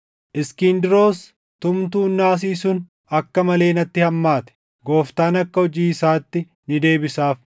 Iskindiroos tumtuun naasii sun akka malee natti hammaate. Gooftaan akka hojii isaatti ni deebisaaf.